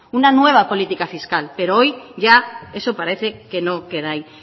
una nueva política fiscal pero hoy ya eso parece que no queda ahí